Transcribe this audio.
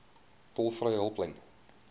tolvrye hulplyn